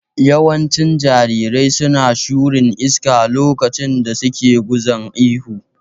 Yawancin jarirai suna shurin iska lokacin da suke gunza ihu